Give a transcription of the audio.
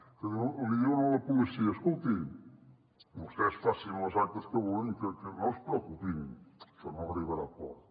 que li diuen a la policia escoltin vostès facin les actes que vulguin que no es preocupin això no arribarà a port